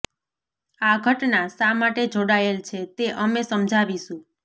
આ ઘટના શા માટે જોડાયેલ છે તે અમે સમજાવીશું